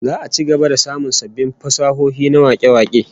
Za'a ci gaba da samun sabbin fasahohi na wake-wake